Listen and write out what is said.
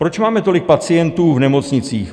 Proč máme tolik pacientů v nemocnicích?